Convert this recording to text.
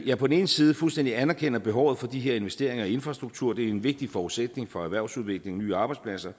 jeg på den ene side fuldstændig anerkender behovet for de her investeringer i infrastruktur for det er en vigtig forudsætning for erhvervsudvikling og nye arbejdspladser og